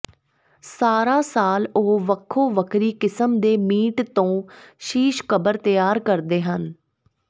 ਸਾਰਾ ਸਾਲ ਉਹ ਵੱਖੋ ਵੱਖਰੀ ਕਿਸਮ ਦੇ ਮੀਟ ਤੋਂ ਸ਼ੀਸ਼ ਕਬਰ ਤਿਆਰ ਕਰਦੇ ਹਨ